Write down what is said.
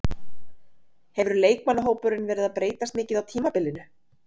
Hefur leikmannahópurinn verið að breytast mikið á tímabilinu?